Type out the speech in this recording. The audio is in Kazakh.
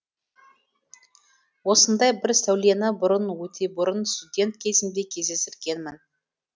осындай бір сәулені бұрын өтебұрын студент кезімде кездестіргенмін